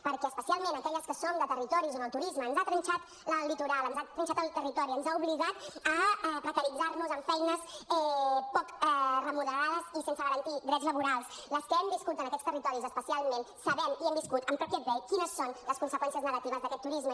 perquè especialment aquelles que som de territoris on el turisme ens ha trinxat el litoral ens ha trinxat el territori ens ha obligat a precaritzar nos amb feines poc remunerades i sense garantir drets laborals les que hem viscut en aquests territoris especialment sabem i hem viscut en pròpia pell quines són les conseqüències negatives d’aquest turisme